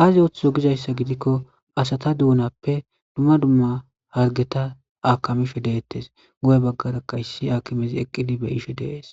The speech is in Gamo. aazi utho gizayssa gidikko asata duunappe dumma dumma hargeta aakamisho deettes goye baggarakka issi akimezi eqqidi be ishe dees